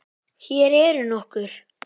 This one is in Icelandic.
Hér eru nokkur